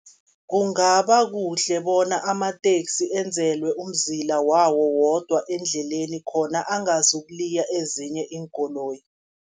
Kungaba kuhle bona amateksi enzelwe umzila wawo wodwa endleleni, khona angazokuliya ezinye iinkoloyi.